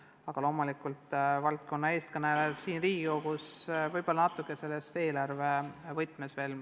Ent loomulikult valdkonna eestkõnelejad siin Riigikogus on debattidele lähenenud võib-olla eelkõige eelarve võtmes.